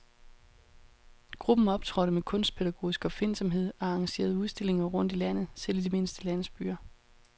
Gruppen optrådte med kunstpædagogisk opfindsomhed og arrangerede udstillinger rundt i landet, selv i de mindste landsbyer.